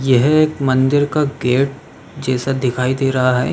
यह एक मंदिर का गेट जैसा दिखाई दे रहा है।